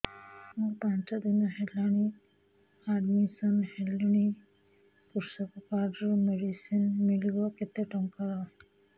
ମୁ ପାଞ୍ଚ ଦିନ ହେଲାଣି ଆଡ୍ମିଶନ ହେଲିଣି କୃଷକ କାର୍ଡ ରୁ ମେଡିସିନ ମିଳିବ କେତେ ଟଙ୍କାର